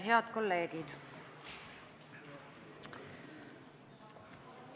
Head kolleegid!